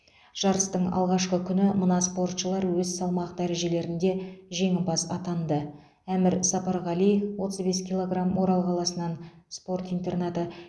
жарыстың алғашқы күні мына спортшылар өз салмақ дәрежелерінде жеңімпаз атанды әмір сапарғали отыз бес килограмм орал қаласынан спорт интернаты